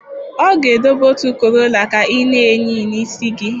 Ọ ga-edobe otu korolla ka ị na-eyi n'isi gị